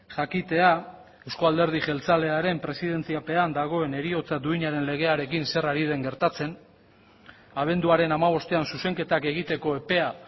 jakitea euzko alderdi jeltzalearen presidentziapean dagoen heriotza duinaren legearekin zer ari den gertatzen abenduaren hamabostean zuzenketak egiteko epea